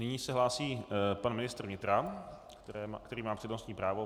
Nyní se hlásí pan ministr vnitra, který má přednostní právo.